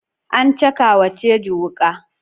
An caka wa Teju wuka.